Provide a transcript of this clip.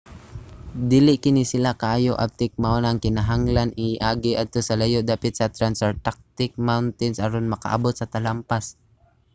dili kini sila kaayo abtik mao na nga kinahanglang i-agi adto sa layo dapit sa transantarctic mountains aron makaabot sa talampas